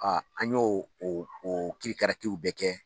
A an y'o o o kirikaratiw bɛɛ kɛ.